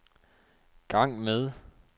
gang med